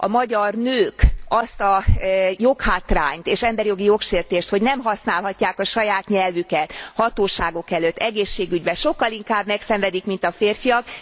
A magyar nők azt a joghátrányt és emberjogi jogsértést, hogy nem használhatják a saját nyelvüket hatóságok előtt, egészségügyben, sokkal inkább megszenvedik, mint a férfiak.